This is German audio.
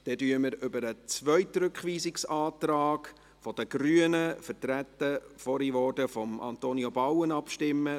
Nun stimmen wir über den zweiten Rückweisungsantrag der Grünen, vorhin vertreten von Antonio Bauen, ab.